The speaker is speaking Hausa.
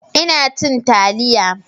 Ina cin taliya.